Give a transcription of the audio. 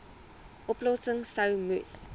oplossings sou moes